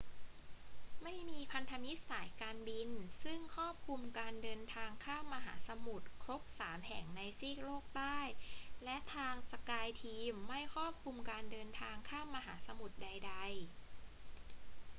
ไม่มีพันธมิตรสายการบินซึ่งครอบคลุมการเดินทางข้ามมหาสมุทรครบสามแห่งในซีกโลกใต้ และทาง skyteam ไม่ครอบคลุมการเดินทางข้ามมหาสมุทรใดๆ